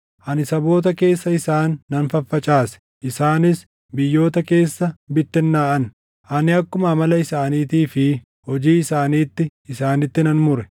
Ani saboota keessa isaan nan faffacaase; isaanis biyyoota keessa bittinnaaʼan; ani akkuma amala isaaniitii fi hojii isaaniitti isaanitti nan mure.